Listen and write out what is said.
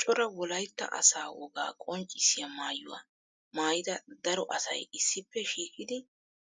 cora wolaytta asaa wogaa qonccissiya maayuwa maayida daro asay issippe shiiqidi